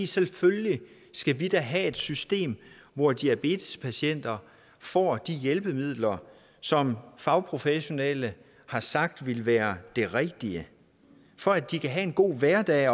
selvfølgelig skal vi da have et system hvor diabetespatienter får de hjælpemidler som fagprofessionelle har sagt ville være det rigtige for at de kan have en god hverdag